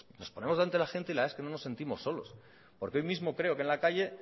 bueno pues nos ponemos delante de la gente y la verdad es que no nos sentimos solos porque hoy mismo creo que en la calle